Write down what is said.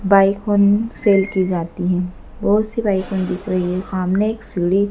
बाइकोन sell की जाती हैं बहोत सी बाइकोन दिख रही है सामने एक सीढ़ी --